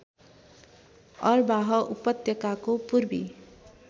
अरबाह उपत्यकाको पूर्वी